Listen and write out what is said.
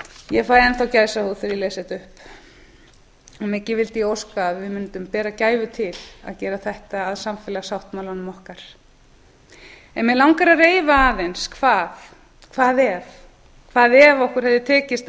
ég fæ enn þá gæsahúð þegar ég les þetta upp mikið vildi ég óska að við mundum bera gæfu til að gera þetta að samfélagssáttmálanum okkar mig langar að reifa aðeins hvað ef hvað ef okkur hefði tekist að